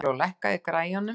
Eygló, lækkaðu í græjunum.